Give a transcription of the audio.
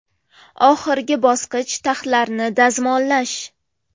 Oxirgi bosqich taxlarini dazmollash.